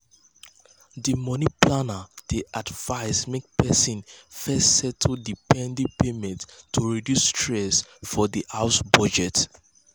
di money planner dey advise make person first settle di pending payments to reduce stress for di house budget